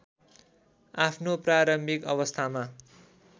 आफ्नो प्रारम्भिक अवस्थामा